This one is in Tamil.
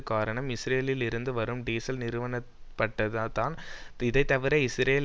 காரணம் இஸ்ரேலில் இருந்து வரும் டீசல் நிறுத்தப்பட்டதுதான் இதைத்தவிர இஸ்ரேல்